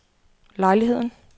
lejligheden